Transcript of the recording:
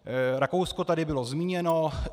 Rakousko tady bylo zmíněno.